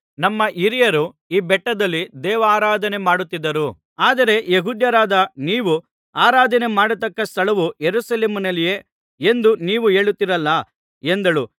ನಮ್ಮ ಹಿರಿಯರು ಈ ಬೆಟ್ಟದಲ್ಲಿ ದೇವಾರಾಧನೆ ಮಾಡುತ್ತಿದ್ದರು ಆದರೆ ಯೆಹೂದ್ಯರಾದ ನೀವು ಆರಾಧನೆ ಮಾಡತಕ್ಕ ಸ್ಥಳವು ಯೆರೂಸಲೇಮಿನಲ್ಲಿಯೇ ಎಂದು ನೀವು ಹೇಳುತ್ತೀರಲ್ಲಾ ಎಂದಳು